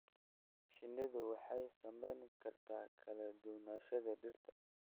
Shinnidu waxay saameyn kartaa kala duwanaanshaha dhirta.